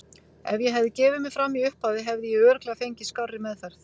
Ef ég hefði gefið mig fram í upphafi hefði ég örugglega fengið skárri meðferð.